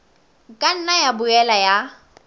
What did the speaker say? ka nna ya boela ya